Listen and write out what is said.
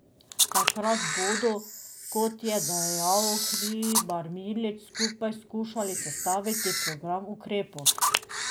Takrat bodo, kot je dejal Hribar Milič, skupaj skušali sestaviti program ukrepov.